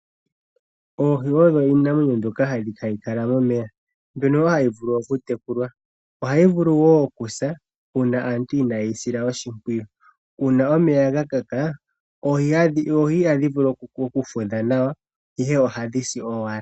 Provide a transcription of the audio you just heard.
Oohi odho iinamwenyo mbyoka hayi kala momeya, mbyono wo hayi vulu okutekulwa. Ohayi vulu wo okusa uuna aantu inaaye yi sila oshimpwiyu. Uuna omeya ga kaka oohi ihadhi vulu oku fudha nawa ihe ohadhi si owala.